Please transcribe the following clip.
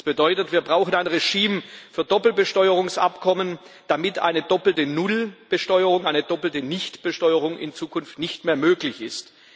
Das bedeutet, wir brauchen ein Regime für Doppelbesteuerungsabkommen, damit eine doppelte Nullbesteuerung, eine doppelte Nichtbesteuerung in Zukunft nicht mehr möglich ist.